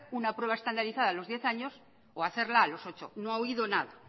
una prueba estandarizada a los diez años o hacerla a los ocho no ha oído nada